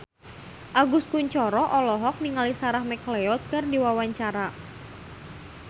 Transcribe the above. Agus Kuncoro olohok ningali Sarah McLeod keur diwawancara